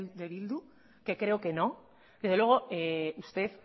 de bildu que creo que no pero desde luego usted